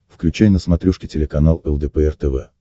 включай на смотрешке телеканал лдпр тв